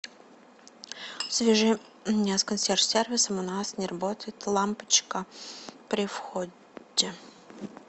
свяжи меня с консьерж сервисом у нас не работает лампочка при входе